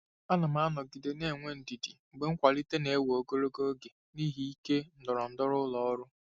Ana m anọgide na-enwe ndidi mgbe nkwalite na-ewe ogologo oge n'ihi ike ndọrọndọrọ ụlọ ọrụ.